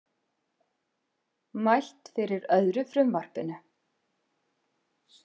Mælt fyrir öðru frumvarpinu